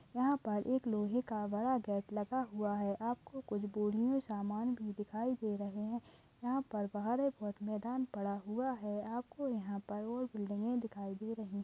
यहा पर एक लोहे का बड़ा गेट लगा हुआ है आपको कुछ बोरी मै समान भी दिखाई दे रहे है यहा मेदान पड़ा हुआ है आपको यहा पर और बिल्डिंग दिखाई दे रही है।